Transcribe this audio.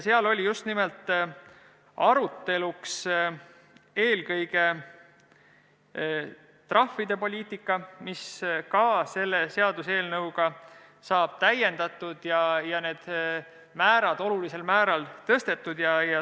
Seal oli arutelu all eelkõige trahvide poliitika, mida selle seaduseelnõuga täiendatakse, neid määrasid oluliselt tõstetakse.